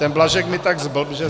Ten Blažek mě tak zblbl, že...